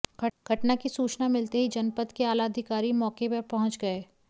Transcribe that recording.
घटना की सूचना मिलते ही जनपद के आला अधिकारी मौके पर पहुंच गए